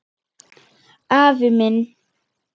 Afi minn